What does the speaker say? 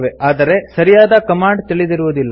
ಆದರೆ ಸರಿಯಾದ ಕಮಾಂಡ್ ತಿಳಿದಿರುವುದಿಲ್ಲ